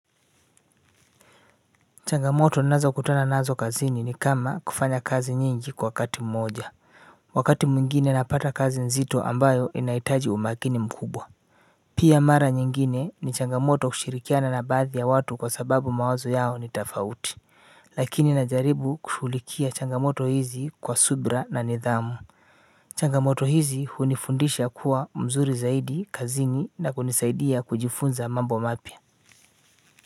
Changamoto ninazokutana nazo kazini ni kama kufanya kazi nyingi kwa wakati mmoja. Wakati mwingine napata kazi nzito ambayo inahitaji umakini mkubwa. Pia mara nyingine ni changamoto kushirikiana na baadhi ya watu kwa sababu mawazo yao ni tofauti. Lakini najaribu kushughulikia changamoto hizi kwa subira na nidhamu. Changamoto hizi hunifundisha kuwa mzuri zaidi kazini na kunisaidia kujifunza mambo mapya.